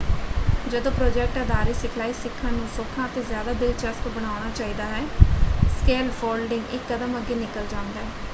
ਜਦੋ ਪ੍ਰੋਜੈਕਟ ਆਧਾਰਿਤ ਸਿਖਲਾਈ ਸਿੱਖਣ ਨੂੰ ਸੌਖਾ ਅਤੇ ਜ਼ਿਆਦਾ ਦਿਲਚਸਪ ਬਣਾਉਣਾ ਚਾਹੀਦਾ ਹੈ ਸਕੈਲਫੋਲਡਿੰਗ ਇਕ ਕਦਮ ਅੱਗੇ ਨਿਕਲ ਜਾਂਦਾ ਹੈ।